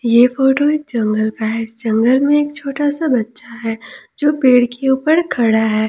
ये फोटो एक जंगल का है जंगल में एक छोटा सा बच्चा है जो पेड़ के ऊपर खड़ा है।